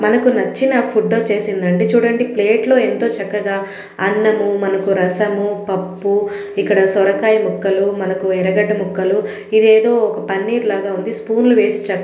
మనకు నచ్చిన ఫుడ్ వచ్చేసిందండి చూడండి ప్లేట్ లో ఎంతో చక్కగా అన్నము మనకు రసము పప్పు ఇక్కడ సొరకాయ ముక్కలు మనకు ఎర్రగడ్డ ముక్కలు ఇదేదో ఒక పన్నీర్ లాగా ఉంది. స్పూన్ లు వేసి చక్క--